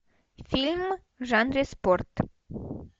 фильм в жанре спорт